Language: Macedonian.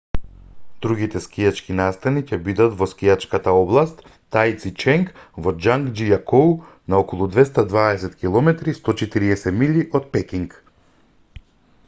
другите скијачки настани ќе бидат во скијачката област таициченг во џангџијакоу на околу 220 km 140 милји од пекинг